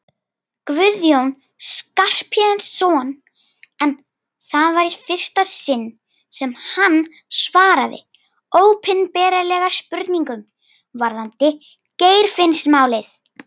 Guðjón Skarphéðinsson en það var í fyrsta sinn sem hann svaraði opinberlega spurningum varðandi Geirfinnsmálið.